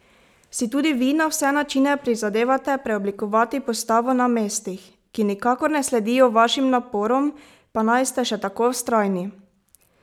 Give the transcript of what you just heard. Si tudi vi na vse načine prizadevate preoblikovati postavo na mestih, ki nikakor ne sledijo vašim naporom, pa naj ste še tako vztrajni?